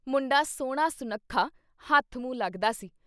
ਮੁੰਡਾ ਸੋਹਣਾ ਸੁਨੱਖਾ ਹੱਥ ਮੂੰਹ ਲੱਗਦਾ ਸੀ।